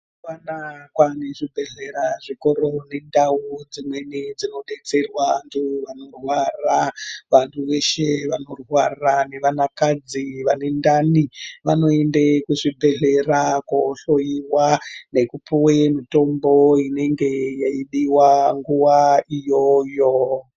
Mazuwa anaa kwaane zvipatara zvikuru nendau dzinodetsera vantu vanorwara. Vanhu vashe vanorwara vanakadzi vane ndani vanoenda kuzvibhedhlera koohloyiwa nepuwa mitombo inenge yeidiwa nguwa iyoyo.